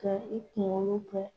Ka i kunkolo fɛn.